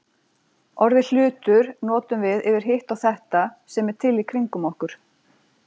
Orðið hlutur notum við yfir hitt og þetta sem er til í kringum okkur.